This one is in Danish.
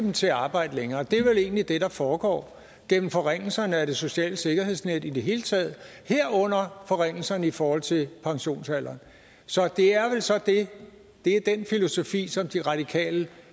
til at arbejde længere det er vel egentlig det der foregår gennem forringelserne af det sociale sikkerhedsnet i det hele taget herunder forringelserne i forhold til pensionsalderen så det er vel så det det er den filosofi som de radikale